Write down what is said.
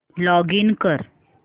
login कर